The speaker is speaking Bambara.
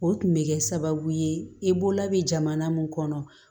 O tun bɛ kɛ sababu ye i bolola bɛ jamana mun kɔnɔ